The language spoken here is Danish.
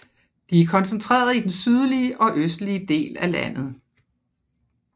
De er koncentreret i den sydlige og østlige del af landet